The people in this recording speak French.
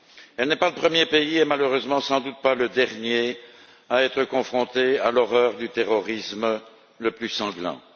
Ce n'est pas le premier pays et, malheureusement, sans doute pas le dernier à être confronté à l'horreur du terrorisme le plus sanglant.